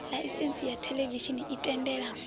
ḽaisentsi ya theḽevishini i tendela